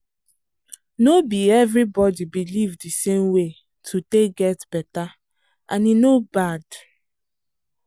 no be everybody believe the same way to take get better and e no bad.